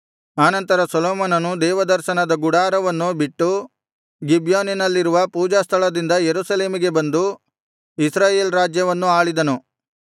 ಆನಂತರ ಸೊಲೊಮೋನನು ದೇವದರ್ಶನದ ಗುಡಾರವನ್ನು ಬಿಟ್ಟು ಗಿಬ್ಯೋನಿನಲ್ಲಿರುವ ಪೂಜಾಸ್ಥಳದಿಂದ ಯೆರೂಸಲೇಮಿಗೆ ಬಂದು ಇಸ್ರಾಯೇಲ್ ರಾಜ್ಯವನ್ನು ಆಳಿದನು